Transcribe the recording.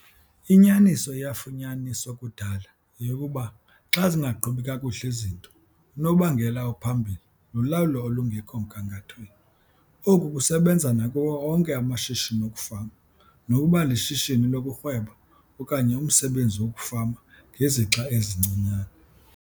Inyaniso eyafunyaniswa kudala yeyokuba xa zingaqhubi kakuhle izinto unobangela ophambili lulawulo olungekho mgangathweni. Oku kusebenza nakuwo onke amashishini okufama, nokuba lishishini lokurhweba okanye umsebenzi wokufama ngezixa ezincinane.